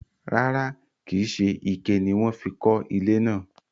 rárá, kìí se ike ni wọ́n fi kọ́ ilé náà.